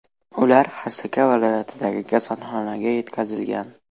Ular Xasaka viloyatidagi kasalxonaga yetkazilgan.